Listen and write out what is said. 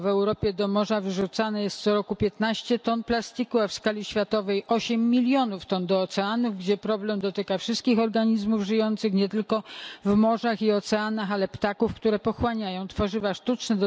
Tylko w Europie do morza wyrzucane jest co roku 15 ton plastiku, a w skali światowej 8 milionów ton do oceanów, gdzie problem dotyka wszystkich organizmów żyjących, nie tylko w morzach i oceanach, ale ptaków, które pochłaniają tworzywa sztuczne.